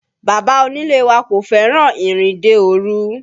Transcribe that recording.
Bàbá onílé wa kò fẹ́ràn ìrìnde òru